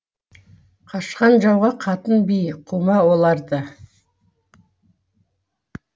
қашқан жауға қатын би қума оларды